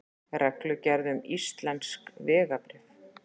Reglugerð um íslensk vegabréf.